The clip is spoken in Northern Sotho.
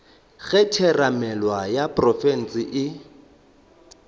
ge theramelao ya profense e